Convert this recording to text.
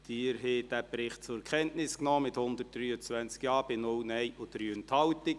Sie haben diesen Bericht zur Kenntnis genommen, mit 123 Ja- bei 0 Nein-Stimmen und 3 Enthaltungen.